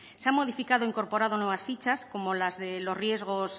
se ha modificado e incorporado nuevas fichas como las de los riesgos